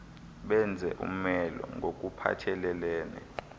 benze umelo ngokuphathelelene